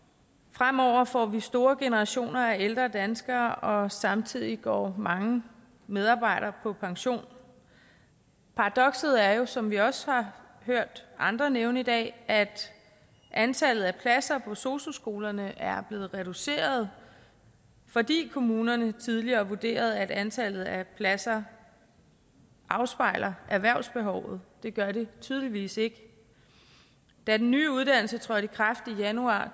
fremover får vi store generationer af ældre danskere og samtidig går mange medarbejdere på pension paradokset er jo som vi også har hørt andre nævne i dag at antallet af pladser på sosu skolerne er blevet reduceret fordi kommunerne tidligere vurderede at antallet af pladser afspejlede erhvervsbehovet det gør det tydeligvis ikke da den nye uddannelse trådte i kraft januar